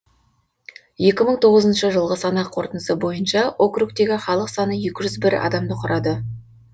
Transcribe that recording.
екі мың тоғызыншы жылғы санақ қорытындысы бойынша округтегі халық саны екі жүз бір адамды құрады